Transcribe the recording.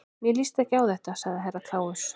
Mér líst ekki á þetta, sagði Herra Kláus.